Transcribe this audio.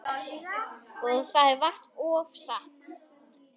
Og það er vart ofsagt.